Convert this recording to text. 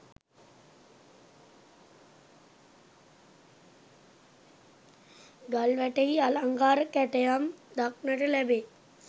ගල්වැටෙහි අලංකාර කැටයම් දක්නට ලැබේ.